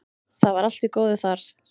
Það var allt í góðu þar.